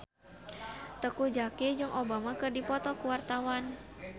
Teuku Zacky jeung Obama keur dipoto ku wartawan